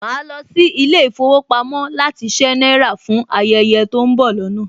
Màá lọ sí ilé ìfowópamọ́ láti ṣé náírà fún ayẹyẹ tó ń bọ̀ lọ́nà